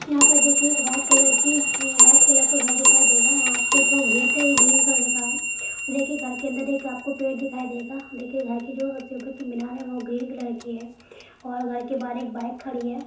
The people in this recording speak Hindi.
यहाँ पर देखिए एक वाईट कलर की अ अ वाईट कलर का घर दिखाई देगा यहाँ पे जो गेट है ये ग्रीन कलर का है और देखिए घर के अंदर एक आपको पेड़ दिखाई देगा देखिए घर की जो सबसे ऊपर की मीनार है वो ग्रीन कलर की है और घर के बाहर एक बाईक खड़ी है।